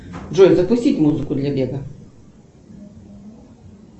джой запустить музыку для бега